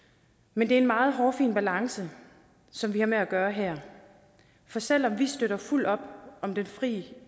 men det er en meget hårfin balance som vi har med at gøre her for selv om vi støtter fuldt op om den fri